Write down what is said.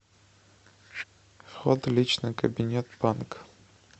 вход в личный кабинет банк